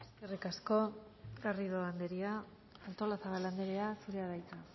eskerrik asko garrido anderea artolazabal anderea zurea da hitza